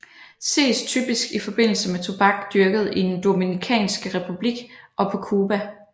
Ses typisk i forbindelse med tobak dyrket i den Dominikanske Republik og på Cuba